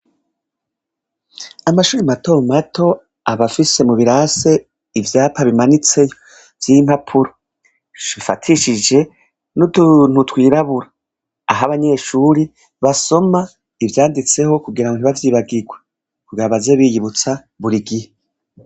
Amashure mato mato aba afise mu birasi ivyapa bimanitse vy'impapuro, bifatishije n'utuntu twirabura, aho abanyeshure basoma ivyanditseho kugira ntibavyibagirwe, kugira baze bariyibutsa buri gihe.